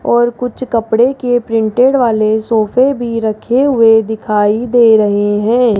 और कुछ कपड़े के प्रिंटेड वाले सोफे भी रखे हुए दिखाई दे रहे हैं।